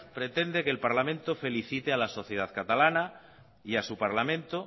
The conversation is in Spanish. pretende que el parlamento felicite a la sociedad catalana y a su parlamento